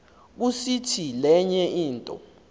kusiti lenye into